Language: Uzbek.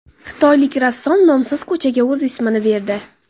Xitoylik rassom nomsiz ko‘chaga o‘z ismini berdi.